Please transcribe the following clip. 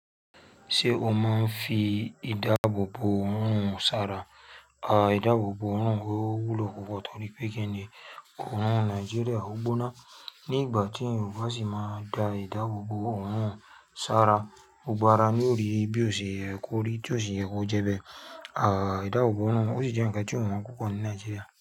Ṣé o máa ń fi ìdáàbòbò ọ̀hún ṣára? Àwọn ìdáàbòbò ọ̀rún wúlò púpọ̀ torí pé kí ni ọ̀rún ní Nàìjíríà, ó gbóná. Ní ìgbà tí eyan o ba sì máa da ìdáàbòbò ọ̀hún ṣára, ó gbára ní òrí bí òṣì ẹ́ kó rí, bí òṣì ẹ́ kọ jẹ bẹ. Àwọn ìdáàbòbò ọ̀rún ò sì jẹ́ ǹkan tí èèyàn ń kó pọ̀ ní Nàìjíríà.